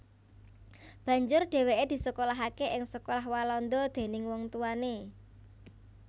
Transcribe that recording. Banjur dhèwèké disekolahaké ing sekolah Walanda déning wong tuwané